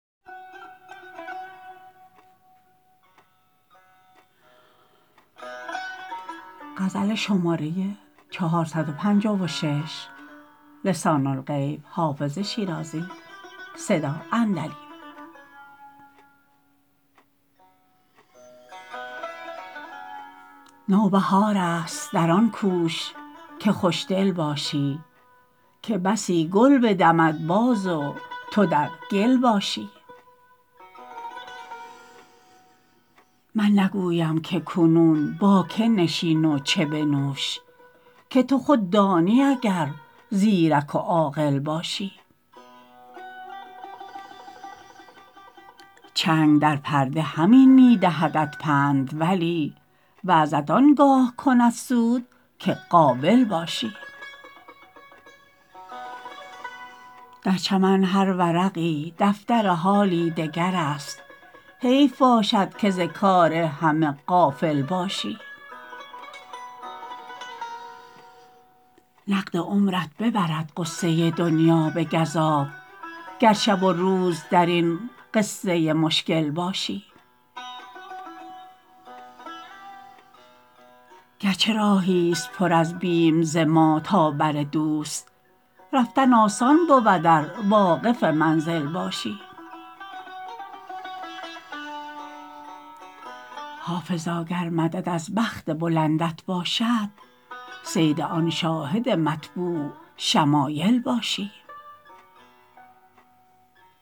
نوبهار است در آن کوش که خوش دل باشی که بسی گل بدمد باز و تو در گل باشی من نگویم که کنون با که نشین و چه بنوش که تو خود دانی اگر زیرک و عاقل باشی چنگ در پرده همین می دهدت پند ولی وعظت آن گاه کند سود که قابل باشی در چمن هر ورقی دفتر حالی دگر است حیف باشد که ز کار همه غافل باشی نقد عمرت ببرد غصه دنیا به گزاف گر شب و روز در این قصه مشکل باشی گر چه راهی ست پر از بیم ز ما تا بر دوست رفتن آسان بود ار واقف منزل باشی حافظا گر مدد از بخت بلندت باشد صید آن شاهد مطبوع شمایل باشی